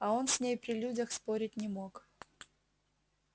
а он с ней при людях спорить не мог